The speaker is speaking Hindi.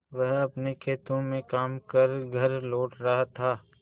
वह अपने खेतों में काम कर घर लौट रहा था